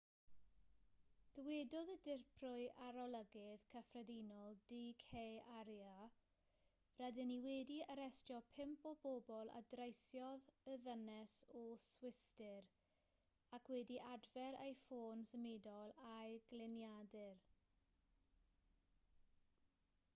dywedodd y dirprwy arolygydd cyffredinol d k arya rydyn ni wedi arestio pump o bobl a dreisiodd y ddynes o'r swistir ac wedi adfer ei ffôn symudol a'i gliniadur